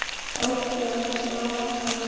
Ótti hans lamar hana.